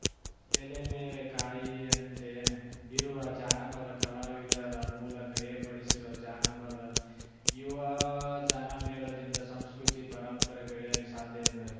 ಎಲೆಮೆರೆ ಕಾಯಿಯಂತೆ ಇರುವ ಜಾನಪದ ಕಲಾವಿದರ ಮೂಲಕ ಏರ್ಪಡಿಸಿರುವ ಜಾನಪದ ಯುವಜನಮೇಳದಿಂದ ಸಂಸ್ಕೃತಿ ಪರಂಪರೆ ಬೆಳೆಯಲು ಸಾಧ್ಯ ಎಂದರು